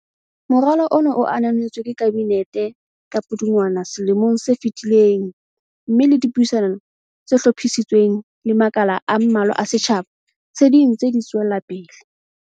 Moralo ona o ananetswe ke Kabinete ka Pudungwana selomong se fetileng mme le dipuisano tse hlophisitsweng le makala a mmalwa a setjha ba, se dintse di tswelapele.